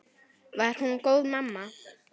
Var hún góð mamma?